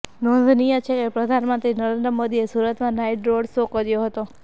નોંધનીય છે કે પ્રધાનમંત્રી નરેંદ્ર મોદીએ સુરતમાં નાઈટ રોડ શો કર્યો હતો